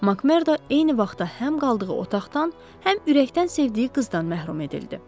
Makmerdo eyni vaxtda həm qaldığı otaqdan, həm ürəkdən sevdiyi qızdan məhrum edildi.